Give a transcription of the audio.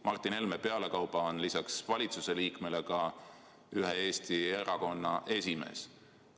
Martin Helme on pealekauba lisaks valitsuse liikmele ka ühe Eesti erakonna esimees.